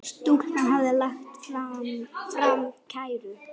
Stúlkan hafði lagt fram kæru.